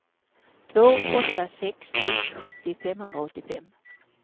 två åtta sex ett sjuttio femhundraåttiofem